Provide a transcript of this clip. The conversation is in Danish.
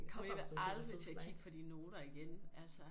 Kommer alligevel aldrig til at kigge på de noter igen altså